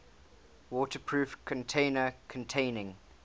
waterproof container containing